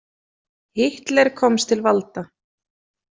Hitler komst til valda.